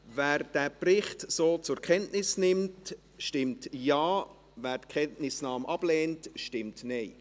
Wer den Bericht so zur Kenntnis nimmt, stimmt Ja, wer die Kenntnisnahme ablehnt, stimmt Nein.